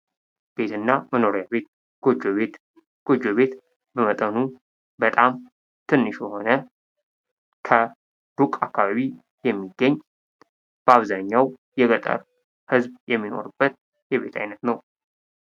ቤት እና መኖሪያ ቤት ። ጎጆ ቤት ፡ጎጆ ቤት በመጠኑ በጣም ትንሽ የሆነ ከሩቅ አካባቢ የሚገኝ በአብዛኛው የገጠር ህዝብ የሚኖርበት የቤት አይነት ነው ።